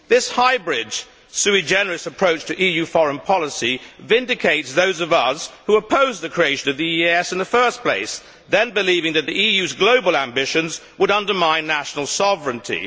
This hybrid sui generis approach to EU foreign policy vindicates those of us who opposed the creation of the EEAS in the first place, believing then that the EU's global ambitions would undermine national sovereignty.